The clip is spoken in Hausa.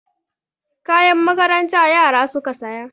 Kayan makaranta yara suka saya.